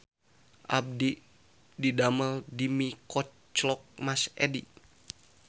Abdi didamel di Mie Koclok Mas Edi